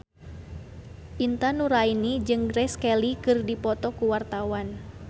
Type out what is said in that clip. Intan Nuraini jeung Grace Kelly keur dipoto ku wartawan